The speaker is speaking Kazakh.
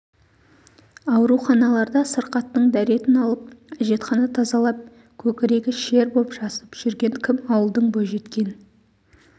ауруханаларда сырқаттың дәретін алып әжетхана тазалап көкірегі шер боп жасып жүрген кім ауылдың бойжеткен